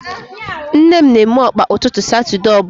Nne m na eme Ọkpa ụtụtụ satude ọbụla